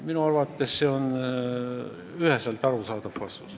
Minu arvates on see üheselt arusaadav vastus.